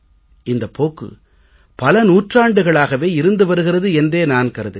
இந்தப் போக்கு பல நூற்றாண்டுகளாகவே இருந்து வருகிறது என்றே நான் கருதுகிறேன்